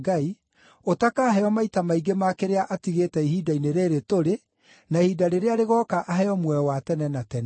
ũtakaheo maita maingĩ ma kĩrĩa atigĩte ihinda-inĩ rĩĩrĩ tũrĩ, na ihinda rĩrĩa rĩgooka aheo muoyo wa tene na tene.”